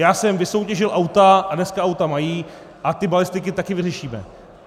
Já jsem vysoutěžil auta a dneska auta mají a ty balistiky taky vyřešíme.